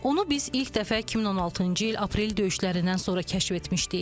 Onu biz ilk dəfə 2016-cı il Aprel döyüşlərindən sonra kəşf etmişdik.